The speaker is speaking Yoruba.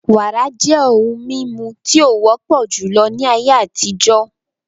Wàrà jẹ́ ohun mímu tí o wọ́pọ̀ júlọ ní ayé àtijó